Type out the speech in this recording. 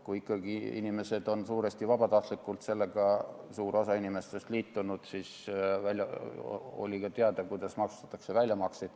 Kui ikkagi suur osa inimesi suuresti vabatahtlikult sellega liitus, siis oli ka teada, kuidas maksustatakse väljamakseid.